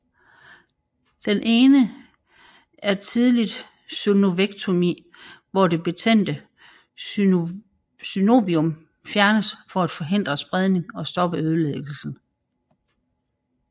Den ene er tidligt synovektomi hvor det betændte synovium fjernes for at forhindre spredning og stoppe ødelæggelsen